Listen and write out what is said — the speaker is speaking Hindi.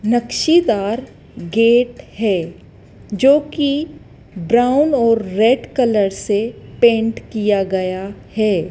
नक्शेदार गेट है जोकि ब्राउन और रेड कलर से पेंट किया गया है।